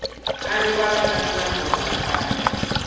a rivalaka ndyangu hala kaya